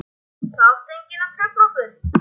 Það átti enginn að trufla okkur.